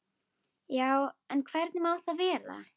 Já, en hvernig má það vera?